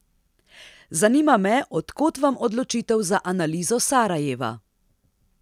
Zanima me, od kod vam odločitev za analizo Sarajeva?